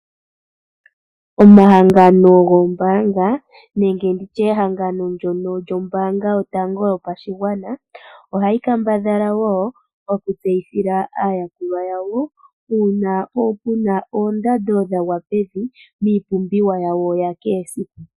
Omahangano goombaanga nenge ndi tye ehangano ndyono lyombaanga yotango yopashigwana, ohayi kambadhala wo okutseyithila aayakulwa yawo uuna ku na oondando dha gwa pevi miipumbiwa yawo ya kehe esiku.